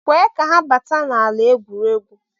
kwee ka ha bata n'ala egwuregwu